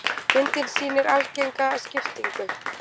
Myndin sýnir algenga skiptingu.